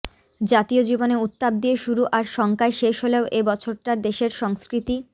জাতীয় জীবনে উত্তাপ দিয়ে শুরু আর শঙ্কায় শেষ হলেও এ বছরটা দেশের সংস্কৃতি